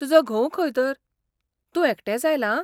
तुजो घोव खंय तर, तूं एकटेंच आयलां?